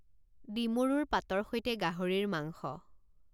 ডিমৰুৰ পাতৰ সৈতে গাহৰিৰ মাংস